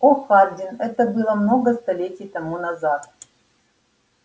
о хардин это было много столетий тому назад